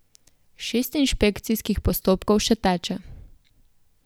Šest inšpekcijskih postopkov še teče.